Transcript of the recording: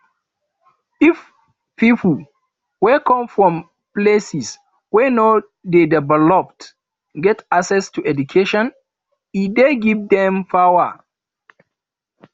if pipo wey come from places wey no de developed get access to education e de give dem power